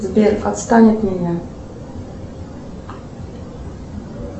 сбер отстань от меня